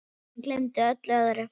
Og hún gleymdi öllu öðru.